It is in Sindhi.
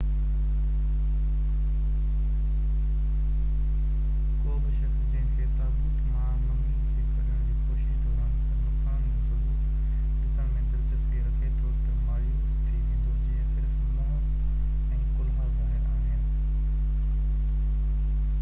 ڪو به شخص جنهن کي تابوت مان ممي کي ڪڍڻ جي ڪوشش دوران ڪيل نقصان جو ثبوت ڏسڻ ۾ دلچسپي رکي ٿو ته مايوس ٿي ويندو جيئن صرف منهن ۽ ڪلها ظاهر آهن